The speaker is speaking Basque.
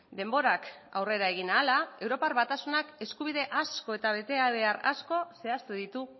denborak aurrera egin ahala europar batasunak eskubide asko eta betebehar asko zehaztu ditu